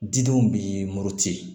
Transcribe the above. Didenw bi muruti